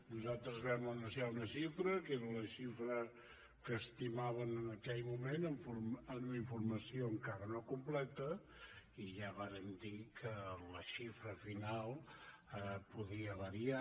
nosaltres vam anunciar una xifra que era la xifra que estimàvem en aquell moment amb la informació encara no completa i ja vàrem dir que la xifra final podia variar